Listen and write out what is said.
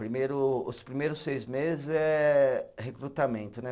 Primeiro, os primeiros seis meses é recrutamento, né?